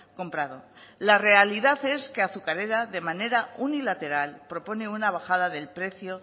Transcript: comprado la realidad es que azucarera de manera unilateral propone una bajada del precio